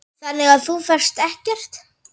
Þannig að þú fékkst ekkert?